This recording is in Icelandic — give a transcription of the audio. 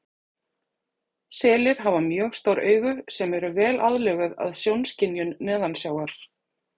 Selir hafa mjög stór augu sem eru vel aðlöguð að sjónskynjun neðansjávar.